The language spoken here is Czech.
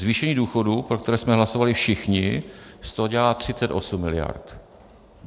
Zvýšení důchodů, pro které jsme hlasovali všichni, z toho dělá 38 miliard.